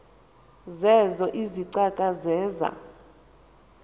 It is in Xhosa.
zeezo izicaka zeza